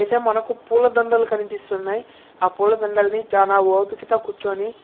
ఇక్కడైతే మనకు పులా దండాలు కనిపిస్తున్నాయి. ఆ పులా దండ లని చానా ఓపిక తో కూర్చొని--